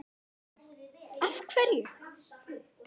Karen: Af hverju?